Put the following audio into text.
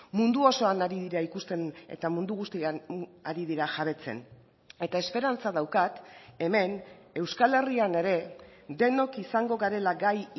mundu osoan ari dira ikusten eta mundu guztian ari dira jabetzen eta esperantza daukat hemen euskal herrian ere denok izango garela gai